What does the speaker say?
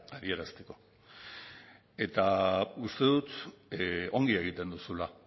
adierazteko eta uste dut ongi egiten duzula